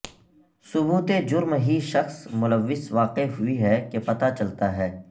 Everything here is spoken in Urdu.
ثبوت جرم ہی شخص ملوث واقع ہوئی ہے کہ پتہ چلتا ہے